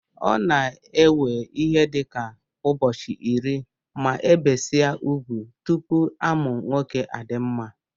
Ọ na ewe ihe dika ubọchi iri ma ebesia ugwụ, tụpụ amụ nwọke adimma.